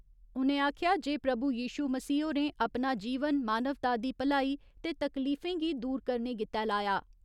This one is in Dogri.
उ'नें आखेआ जे प्रभु यिशू मसीह होरें अपना जीवन मानवता दी भलाई ते तकलीफें गी दूर करने गित्तै लाया।